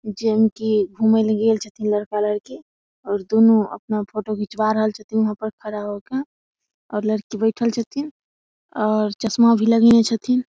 जे मे की घूमे ले गेल छथिन लड़का लड़की और दूनु अपना फोटो खींचवा रहल छथिन वहां पर खड़ा होके और लड़की बैठएल छथिन और चस्मा भी लगेएने छथिन।